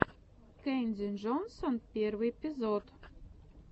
кэнди джонсон первый эпизод